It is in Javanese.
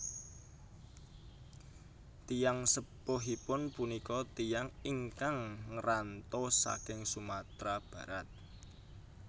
Tiyang sepuhipun punika tiyang ingkang ngranto saking Sumatera Barat